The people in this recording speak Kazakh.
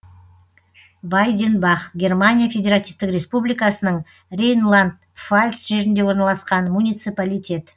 вайденбах германия федеративтік республикасының рейнланд пфальц жерінде орналасқан муниципалитет